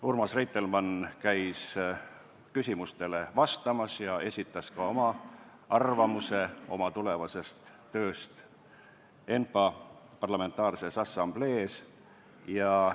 Urmas Reitelmann käis küsimustele vastamas ja esitas ka oma arvamuse oma tulevase töö kohta ENPA-s.